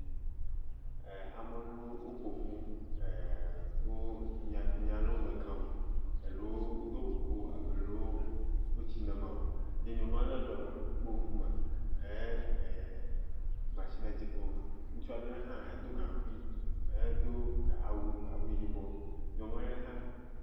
E..amelewo woƒoƒu, e..wo enya ale me kam elewo do xoxo elewo metsi nema o ye nyɔnu ele le wobe ŋkume eye nyɔnu ale le mashie dzi kpɔm, ŋutsu ale hã edo gaŋkui edo awu yibɔ nyɔnu ale ha.